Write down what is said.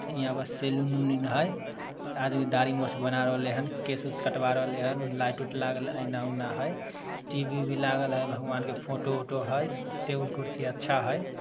यहाँ पर सेलून उलून है। आदमी दाढ़ी-मुछ बना रहले हेन। केस-यूस कटवा रहले हैन। और लाइट - उट लागल टी_वी -उभी लागल हैन। भगवान के फोटो -उटो हेन टेबुल -कुर्सी अच्छा है ।